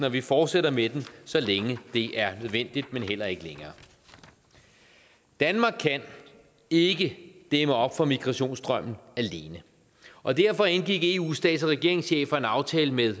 og vi fortsætter med den så længe det er nødvendigt men heller ikke længere danmark kan ikke dæmme op for migrationsstrømmen alene og derfor indgik eus stats og regeringschefer en aftale med